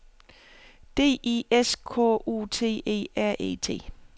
D I S K U T E R E T